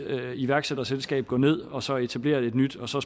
iværksætterselskab gå ned og så etablere et nyt og så